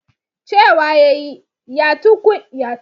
Cewa ya yi, "ya tunkuyi birji" mu ka gane ya rasu